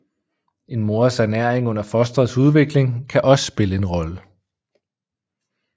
En mors ernæring under fostrets udvikling kan også spille en rolle